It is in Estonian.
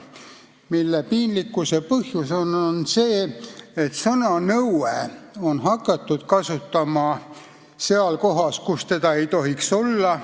Selle piinlikkuse põhjus on see, et sõna "nõue" on hakatud kasutama kohas, kus teda ei tohiks kasutada.